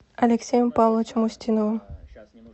алексеем павловичем устиновым